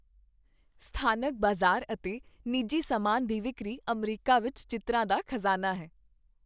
ਸਥਾਨਕ ਬਾਜ਼ਾਰ ਅਤੇ ਨਿੱਜੀ ਸਮਾਨ ਦੀ ਵਿਕਰੀ ਅਮਰੀਕਾ ਵਿੱਚ ਚਿੱਤਰਾਂ ਦਾ ਖਜ਼ਾਨਾ ਹੈ।